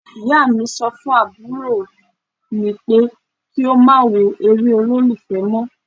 Ìyá mi sọ fún àbúrò mú pé kí ó má wo eré olólùfẹ́ mọ́.